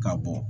Ka bɔ